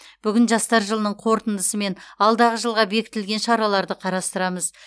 бүгін жастар жылының қорытындысы мен алдағы жылға бекітілген шараларды қарастырамыз